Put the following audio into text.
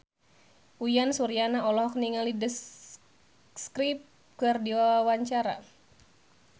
Uyan Suryana olohok ningali The Script keur diwawancara